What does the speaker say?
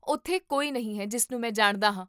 ਉੱਥੇ ਕੋਈ ਨਹੀਂ ਹੈ ਜਿਸਨੂੰ ਮੈਂ ਜਾਣਦਾ ਹਾਂ